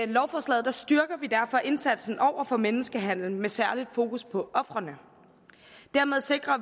lovforslaget styrker vi derfor indsatsen over for menneskehandel med særlig fokus på ofrene dermed sikrer